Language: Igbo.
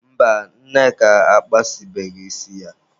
Mba, Nneka akpasịbeghị isi ya.